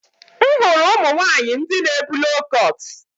M hụrụ ụmụ nwanyị ndị na ebu loo kọt